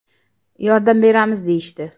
Yordam beramiz deyishdi.